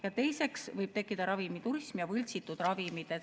Ja teiseks võib tekkida ravimiturism ja ravimite võltsimine.